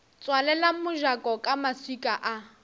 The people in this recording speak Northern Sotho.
tswalela mojako ka maswika a